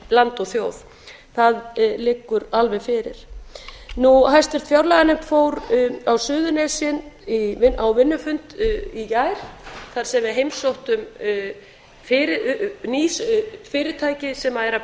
land og þjóð það liggur alveg fyrir háttvirtri fjárlaganefnd fór á suðurnesin á vinnufund í gær þar sem við heimsóttum ný fyrirtæki sem eru að